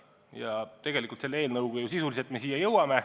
Ja meie eelnõu kohaselt me selleni jõuame.